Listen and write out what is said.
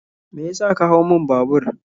Me ya sa ka hau mun babur?